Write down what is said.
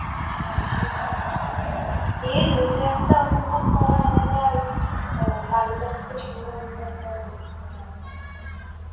হ্যাঁ সেতো অবশ্যই, সেই নিজে একটা অনুভব করা আলাদা, আর আহ কারোর কাছ থেকে শুনে অনুভব করা অন্যরকম মনে হয় আরকি